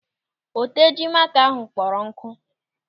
Oteji maaka ahụ kpọrọ nkụ.